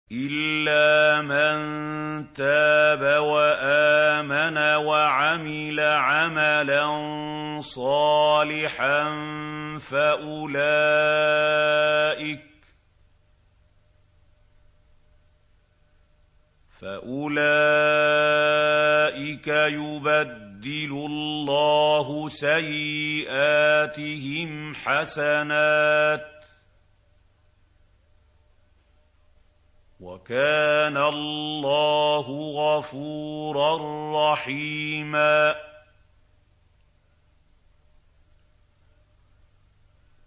إِلَّا مَن تَابَ وَآمَنَ وَعَمِلَ عَمَلًا صَالِحًا فَأُولَٰئِكَ يُبَدِّلُ اللَّهُ سَيِّئَاتِهِمْ حَسَنَاتٍ ۗ وَكَانَ اللَّهُ غَفُورًا رَّحِيمًا